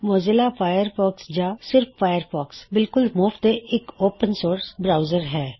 Mozilla Firefox ਜਾੰ ਸਿਰ੍ਫ Firefox ਬਿਲਕੁਲ ਮੁਫਤ ਤੇ ਇਕ ਓਪਨ ਸੋਰਸ ਬਰਾਉਜ਼ਰ ਹੈ